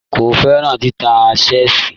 Kò fẹ́ràn títa ṣẹ́ẹ̀ṣì.